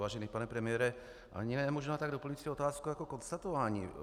Vážený pane premiére, ani ne možná tak doplňující otázku jako konstatování.